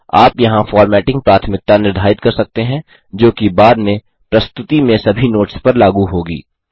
आप यहाँ फ़ॉर्मेटिंग प्राथमिकता निर्धारित कर सकते हैं जोकि बाद में प्रस्तुति में सभी नोट्स पर लागू होगी